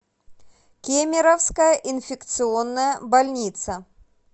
кемеровская инфекционная больница